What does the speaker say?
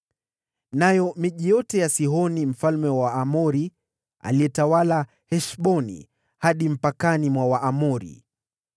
nayo miji yote ya Sihoni mfalme wa Waamori, aliyetawala Heshboni, hadi mpakani mwa Waamoni.